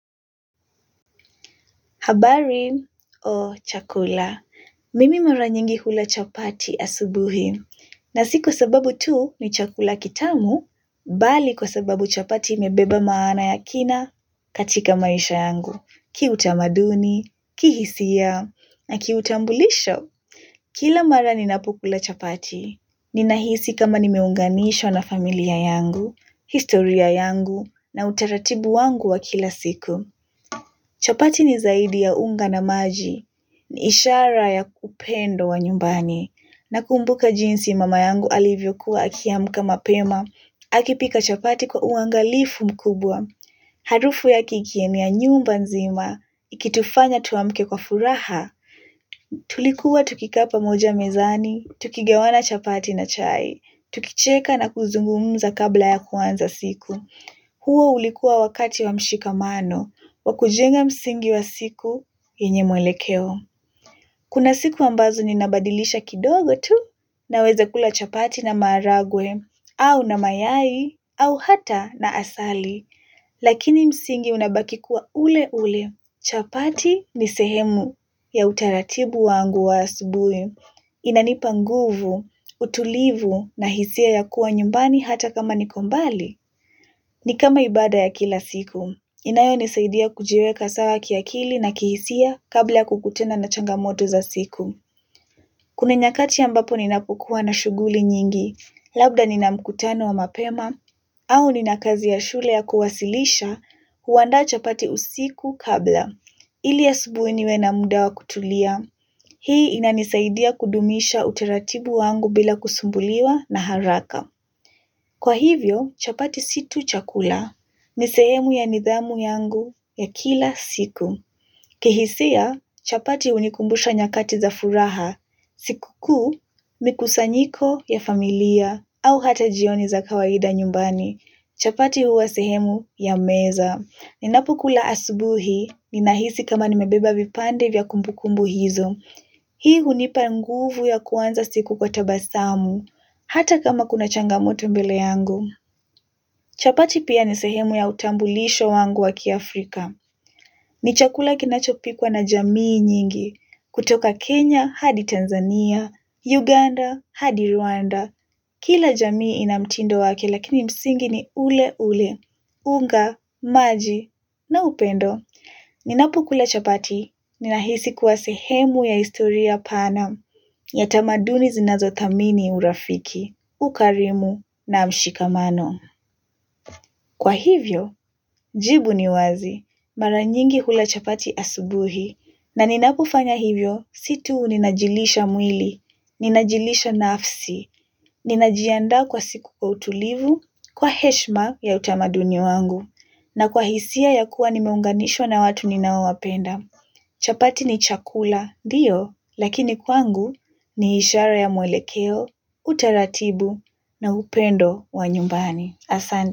Habari, Oh, chakula, mimi mara nyingi hula chapati asubuhi, na si kwa sababu tu ni chakula kitamu, bali kwa sababu chapati imebeba maana ya kina katika maisha yangu, kiutamaduni, kihisia, na kiutambulisho. Kila mara ninapokula chapati, ninahisi kama nimeunganishwa na familia yangu, historia yangu, na utaratibu wangu wa kila siku. Chapati ni zaidi ya unga na maji, ni ishara ya kupendwa nyumbani, nakumbuka jinsi mama yangu alivyokuwa akiamka mapema, akipika chapati kwa uangalifu mkubwa. Harufu yake ikienea nyumba nzima, ikitufanya tuamke kwa furaha, tulikuwa tukikaa pamoja mezani, tukigawana chapati na chai, tukicheka na kuzungumza kabla ya kuanza siku. Huo ulikuwa wakati wa mshikamano, wa kujenga msingi wa siku yenye mwelekeo. Kuna siku ambazo ninabadilisha kidogo tu. Naweza kula chapati na maharagwe, au na mayai, au hata na asali. Lakini msingi unabaki kuwa ule ule. Chapati ni sehemu ya utaratibu wangu wa asubuhi. Inanipa nguvu, utulivu na hisia ya kuwa nyumbani hata kama niko mbali. Ni kama ibada ya kila siku, inayonisaidia kujiweka sawa kiakili na kihisia kabla ya kukutana na changamoto za siku. Kuna nyakati ambapo ninapokuwa na shughuli nyingi, labda nina mkutano wa mapema, au nina kazi ya shule ya kuwasilisha, huandaa chapati usiku kabla. Ili asubuhi niwe na muda wa kutulia, hii inanisaidia kudumisha utaratibu wangu bila kusumbuliwa na haraka. Kwa hivyo, chapati si tu chakula. Ni sehemu ya nidhamu yangu ya kila siku. Kihisia, chapati hunikumbusha nyakati za furaha. Sikukuu, mikusanyiko ya familia au hata jioni za kawaida nyumbani. Chapati huwa sehemu ya meza. Ninapokula asubuhi, ninahisi kama nimebeba vipande vya kumbukumbu hizo. Hii hunipa nguvu ya kuanza siku kwa tabasamu, hata kama kuna changamoto mbele yangu. Chapati pia ni sehemu ya utambulisho wangu wa kiafrika. Ni chakula kinachopikwa na jamii nyingi, kutoka Kenya, hadi Tanzania, Uganda, hadi Rwanda. Kila jamii ina mtindo wake lakini msingi ni ule ule, unga, maji na upendo. Ninapokula chapati, ninahisi kuwa sehemu ya historia pana, ya tamaduni zinazothamini urafiki, ukarimu na mshikamano. Kwa hivyo, jibu ni wazi, mara nyingi hula chapati asubuhi, na ninapofanya hivyo, si tu ninajilisha mwili, ninajilisha nafsi, ninajiandaa kwa siku kwa utulivu, kwa heshima ya utamaduni wangu na kwa hisia ya kuwa nimeunganishwa na watu ninaowapenda. Chapati ni chakula, ndio, lakini kwangu ni ishara ya mwelekeo, utaratibu na upendo wa nyumbani.